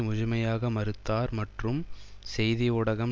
முழுமையாக மறுத்தார் மற்றும் செய்தி ஊடகம்